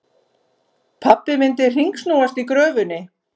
Pabbi myndi hringsnúast í gröfunni.